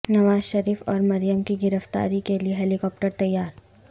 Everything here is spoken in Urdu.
نواز شریف اور مریم کی گرفتاری کے لیے ہیلی کاپٹر تیار